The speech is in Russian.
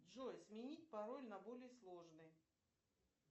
джой сменить пароль на более сложный